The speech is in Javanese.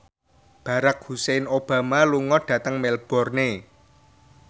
Barack Hussein Obama lunga dhateng Melbourne